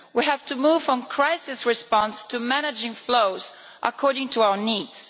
We have to move from crisis response to managing flows according to our needs.